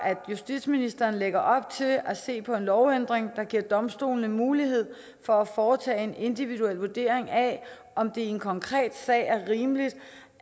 at justitsministeren lægger op til at se på en lovændring der giver domstolene mulighed for at foretage en individuel vurdering af om det i en konkret sag er rimeligt